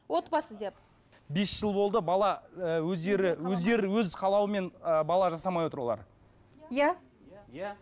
отбасы деп бес жыл болды бала і өздері өздері өз қалауымен ы бала жасамай отыр олар иә иә